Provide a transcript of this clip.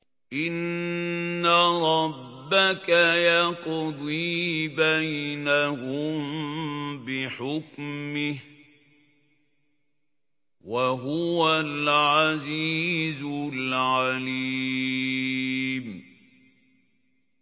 إِنَّ رَبَّكَ يَقْضِي بَيْنَهُم بِحُكْمِهِ ۚ وَهُوَ الْعَزِيزُ الْعَلِيمُ